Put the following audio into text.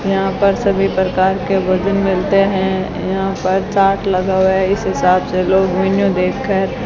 यहां पर सभी प्रकार के भोजन मिलते हैं यहां पर चार्ट लगा हुआ है इस हिसाब से लोग मेन्यू देखकर --